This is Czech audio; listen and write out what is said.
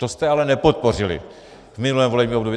To jste ale nepodpořili v minulém volebním období.